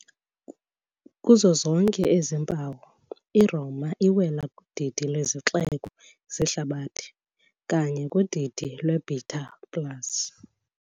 Kuzo zonke ezi mpawu, iRoma iwela kudidi lwezixeko zehlabathi, kanye kudidi "lweBeta plus".